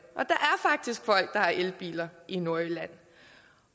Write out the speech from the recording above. og har elbiler i nordjylland